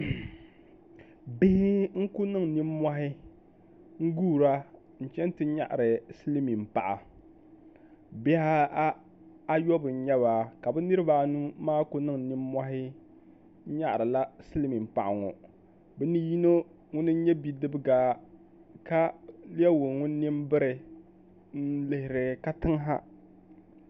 Bihi n ku niŋ nimmohi n guura n chɛni ti nyaɣari silmiin paɣa bihi ayɔbu n nyɛba ka bi niraba anu maa ku niŋ nimmohi nyaɣarila silmiin paɣa ŋɔ bi ni yino ŋuni n nyɛ bidibaga ka lɛbigi ŋun nini biri n lihiri katiŋ ha